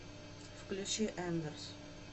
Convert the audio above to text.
включи эндерс